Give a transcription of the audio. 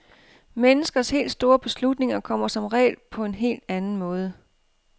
Menneskers helt store beslutninger kommer som regel på en helt anden måde.